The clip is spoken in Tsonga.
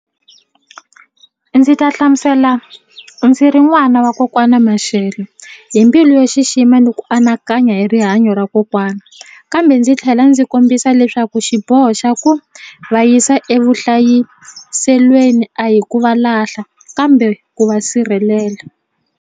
Ndzi ta hlamusela ndzi ri n'wana wa kokwana Mashele hi mbilu yo xixima ni ku anakanya hi rihanyo ra kokwana kambe ndzi tlhela ndzi kombisa leswaku xiboho xa ku va yisa evuhlayiselweni a hi ku va lahla kambe ku va sirhelela.